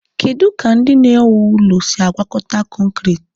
Kedu ka ndị na-ewu ụlọ si agwakọta kọnkriit?